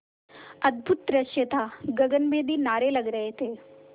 अद्भुत दृश्य था गगनभेदी नारे लग रहे थे